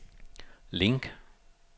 link